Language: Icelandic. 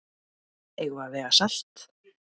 Eigum við að vega salt?